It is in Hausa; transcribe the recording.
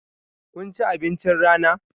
Kun ci abincin rana?